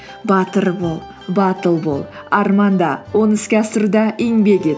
батыр бол батыл бол арманда оны іске асыруда еңбек ет